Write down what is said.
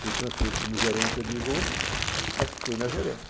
Fui transferido como gerente adjunto, mas fiquei na gerência.